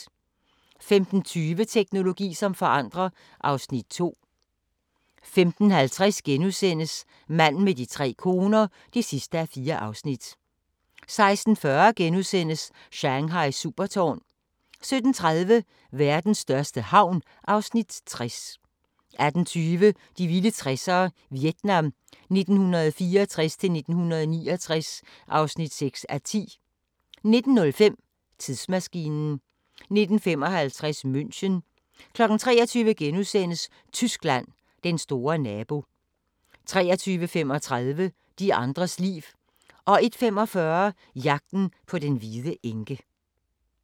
15:20: Teknologi som forandrer (Afs. 2) 15:50: Manden med de tre koner (4:4)* 16:40: Shanghais supertårn * 17:30: Verdens største havn (Afs. 60) 18:20: De vilde 60'ere: Vietnam 1964-1969 (6:10) 19:05: Tidsmaskinen 19:55: München 23:00: Tyskland: Den store nabo * 23:35: De andres liv 01:45: Jagten på den hvide enke